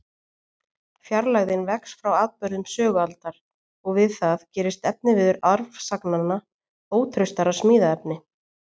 Fjarlægðin vex frá atburðum sögualdar, og við það gerist efniviður arfsagnanna ótraustara smíðaefni.